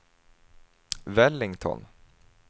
Wellington